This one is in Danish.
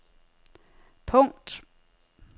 punkt